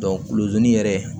kulu yɛrɛ